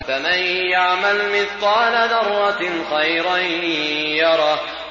فَمَن يَعْمَلْ مِثْقَالَ ذَرَّةٍ خَيْرًا يَرَهُ